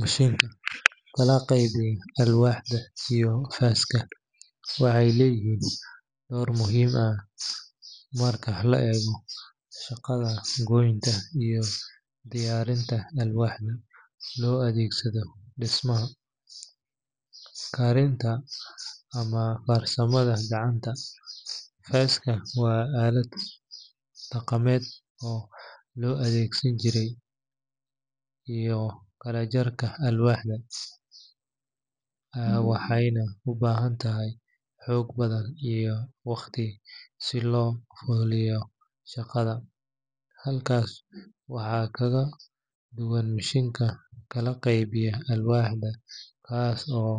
Mishiinka kala qaybiya alwaaxda iyo faaska waxay leeyihiin door muhiim ah marka la eego shaqada goynta iyo diyaarinta alwaaxda loo adeegsado dhismo, karinta ama farsamada gacanta. Faaska waa aalad dhaqameed oo loo adeegsado jarista iyo kala jarka alwaaxda, waxayna u baahan tahay xoog badan iyo waqti si loo fuliyo shaqada. Halkaas waxaa kaga duwan mishiinka kala qaybiya alwaaxda kaas oo